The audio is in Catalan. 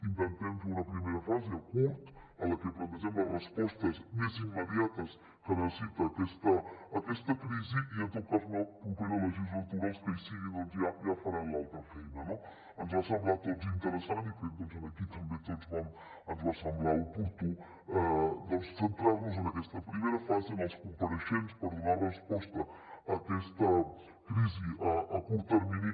intentem fer una primera fase a curt termini en la que plantegem les respostes més immediates que necessita aquesta crisi i en tot cas en la propera legislatura els que hi siguin ja faran l’altra feina no ens va semblar a tots interessant i aquí també a tots ens va semblar oportú centrar nos en aquesta primera fase en els compareixents per donar resposta a aquesta crisi a curt termini